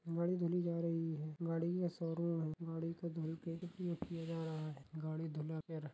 गाड़ी धुली जा रही है गाडी़ का शोरूम है गाडी़ को धुल के उपयोग किया जा रहा है गाड़ी धुला के रख--